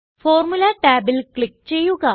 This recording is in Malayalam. ഫോർമുല ടാബിൽ ക്ലിക്ക് ചെയ്യുക